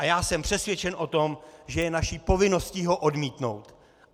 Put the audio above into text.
A já jsem přesvědčen o tom, že je naší povinností ho odmítnout.